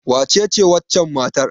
Wacece wancan matar?